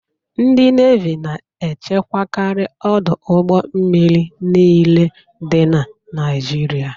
Ndị Nevi na echekwakari ọdụ ụgbọ mmiri niile dị na Naijiria.